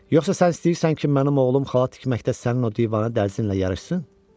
Yoxsa sən istəyirsən ki, mənim oğlum xalat tikməkdə sənin o dəli-divanə dərzinlə yarışsın?